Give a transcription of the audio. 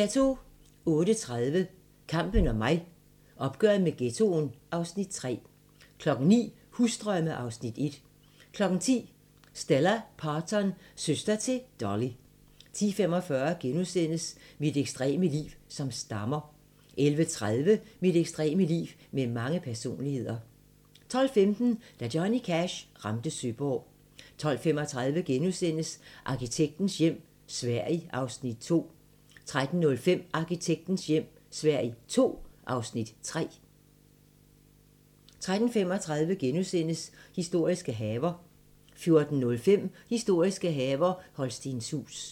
08:30: Kampen om mig: Opgøret med ghettoen (Afs. 3) 09:00: Husdrømme (Afs. 1) 10:00: Stella Parton – søster til Dolly 10:45: Mit ekstreme liv som stammer * 11:30: Mit ekstreme liv med mange personligheder 12:15: Da Johnny Cash ramte Søborg 12:35: Arkitektens hjem - Sverige (Afs. 2)* 13:05: Arkitektens hjem - Sverige II (Afs. 3) 13:35: Historiske haver * 14:05: Historiske haver - Holstenshuus